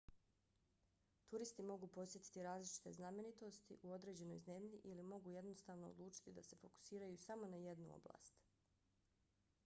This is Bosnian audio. turisti mogu posjetiti različite znamenitosti u određenoj zemlji ili mogu jednostavno odlučiti da se fokusiraju samo na jednu oblast